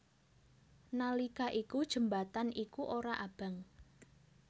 Nalika iku jembatan iku ora abang